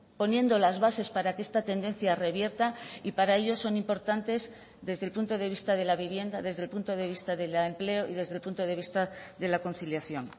poniendo las bases para que esta tendencia revierta y para ello son importantes desde el punto de vista de la vivienda desde el punto de vista del empleo y desde el punto de vista de la conciliación